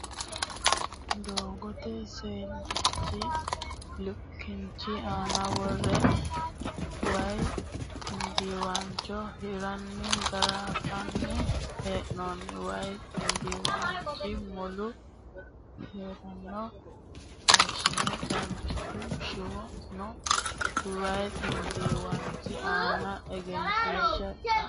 Doogote seesallichi kinchi aan worre Waayi ximbiiwaancho hirranni garanfanni hee'noonni. Waayi ximbiiwaanchi mule kolishsho caabbichu shiwo no. Waayi xiimbiiwaanchi aana engenshiishsha xallinoonni.